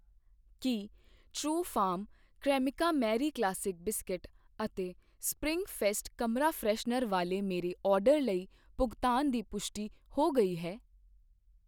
ਕੀ ਟਰਉਫਾਰਮ, Cremica Marie classic biscuit ਅਤੇ spring fest ਕਮਰਾ ਫਰੈਸ਼ਨਰ ਵਾਲੇ ਮੇਰੇ ਆਰਡਰ ਲਈ ਭੁਗਤਾਨ ਦੀ ਪੁਸ਼ਟੀ ਹੋ ਗਈ ਹੈ?